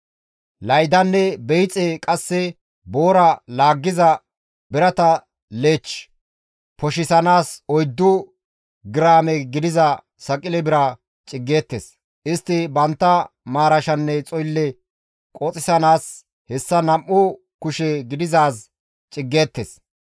Laydanne beyixe qasse boora laaggiza birata leech poshisanaas oyddu giraame gidiza saqile bira ciggeettes; istti bantta maarashanne xoylle qoxisanaas hessas nam7u kushe gidizaaz ciggeettes.